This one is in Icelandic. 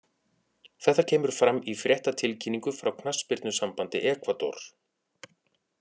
Þetta kemur fram í fréttatilkynningu frá knattspyrnusambandi Ekvador.